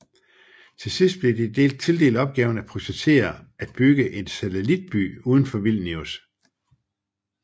Til sidst blev de tildelt opgaven at projektere at bygge en satellit by uden for Vilnius